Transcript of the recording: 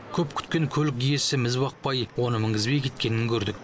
көп күткен көлік иесі міз бақпай оны мінгізбей кеткенін көрдік